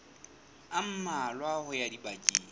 a mmalwa ho ya dibekeng